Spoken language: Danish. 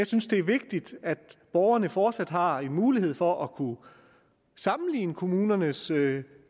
synes det er vigtigt at borgerne fortsat har mulighed for at kunne sammenligne kommunernes